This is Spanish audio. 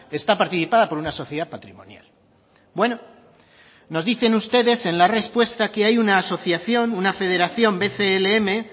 está participada por una sociedad patrimonial bueno nos dicen ustedes en la respuesta que hay una asociación una federación bclm